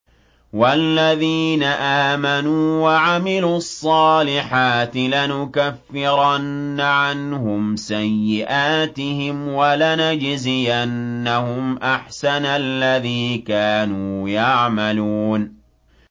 وَالَّذِينَ آمَنُوا وَعَمِلُوا الصَّالِحَاتِ لَنُكَفِّرَنَّ عَنْهُمْ سَيِّئَاتِهِمْ وَلَنَجْزِيَنَّهُمْ أَحْسَنَ الَّذِي كَانُوا يَعْمَلُونَ